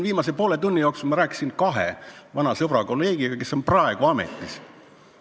Viimase poole tunni jooksul ma rääkisin kahe vana sõbra ja kolleegiga, kes on praegu ametis.